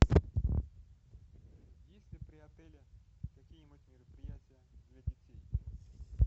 есть ли при отеле какие нибудь мероприятия для детей